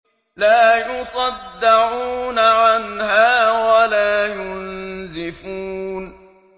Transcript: لَّا يُصَدَّعُونَ عَنْهَا وَلَا يُنزِفُونَ